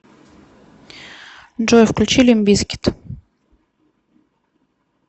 джой включи лимп бизкит